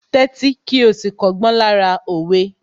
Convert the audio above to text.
Tẹ́tí kí ó sì kọ́gbọ́n lára òwe